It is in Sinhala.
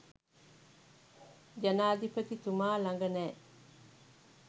ජනාධිපතිතුමා ළඟ නෑ.